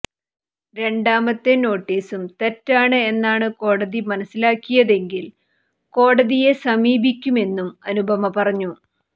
രണ്ടാമത്തെ നോട്ടിസും തെറ്റാണ് എന്നാണ് കോടതി മനസ്സിലാക്കിയതെങ്കിൽ കോടതിയെ സമീപിക്കുമെന്നും അനുപമ പറഞ്ഞു